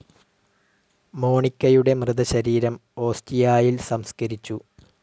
മോണിക്കയുടെ മൃതശരീരം ഓസ്റ്റിയായിൽ സംസ്കരിച്ചു.